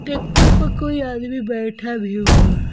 Tractor पर कोई आदमी बैठा भी हुआ है।